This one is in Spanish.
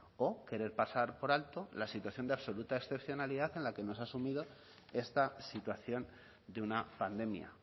o querer pasar por alto la situación de absoluta excepcionalidad en la que nos ha asumido esta situación de una pandemia